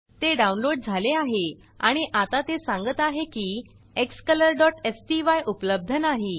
ते डाउनलोड झाले आहे आणि आता ते सांगत आहे की xcolorस्टाय उपलब्ध नाही